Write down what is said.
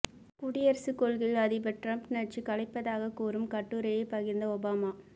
குடியரசுக் கொள்கையில் அதிபர் டிரம்ப் நச்சு கலப்பதாக கூறும் கட்டுரையை பகிர்ந்த ஒபாமா